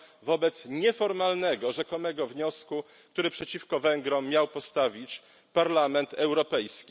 wobec nieformalnego rzekomego wniosku, który przeciwko Węgrom miał postawić Parlament Europejski.